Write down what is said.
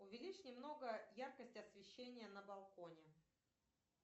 увеличь немного яркость освещения на балконе